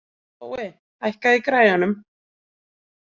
Tói, hækkaðu í græjunum.